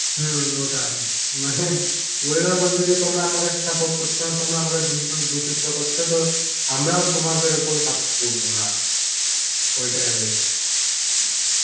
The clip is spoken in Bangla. হম ওটাই মানে weather বলছে তোমরা আমাকে সাপোর্ট করছ না তোমরা আমাকে দুষিত করছ তো আমরাও তোমাদের ওপর করবো না ঐটাই হয়ে গেছে